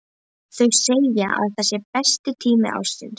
Þau segja að það sé besti tími ársins.